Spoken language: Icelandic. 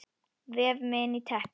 Vef mig inn í teppið.